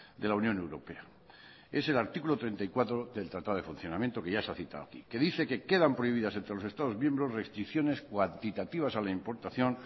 de la unión europea es el artículo treinta y cuatro del tratado de funcionamiento que ya se ha citado aquí que dice que quedan prohibidas entre los estados miembros restricciones cuantitativas a la importación